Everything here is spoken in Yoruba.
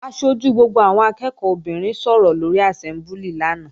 Aṣojú gbogbo àwọn akẹ́ẹ̀kọ́ obìnrin sọ̀rọ̀ lóri àsẹ́mbúlì lánàá